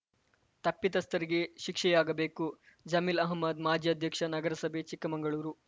ತಪ್ಪಿತಸ್ಥರಿಗೆ ಶಿಕ್ಷೆಯಾಗಬೇಕು ಜಮೀಲ್‌ ಅಹ್ಮದ್‌ ಮಾಜಿ ಅಧ್ಯಕ್ಷ ನಗರಸಭೆ ಚಿಕ್ಕಮಂಗಳೂರು